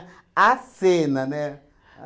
A cena, né?